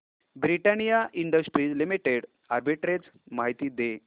Britannia Industries Limited arbitrage माहिती दे